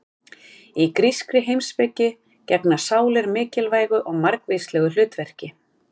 Í grískri heimspeki gegna sálir mikilvægu og margvíslegu hlutverki.